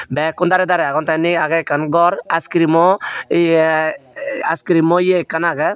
bekkun dare dare aagon te inni aage ikkan ghar ice creamo ye ice creamo ye ikkan aage.